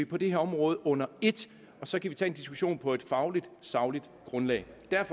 på det her område under et og så kan vi tage en diskussion på et fagligt sagligt grundlag derfor